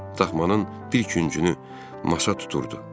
Daxmanın bir küncünü masa tuturdu.